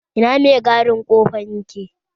Ina mai gadin kofan yake?